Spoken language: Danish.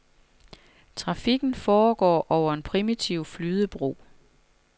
Trafikken foregår over en primitiv flydebro.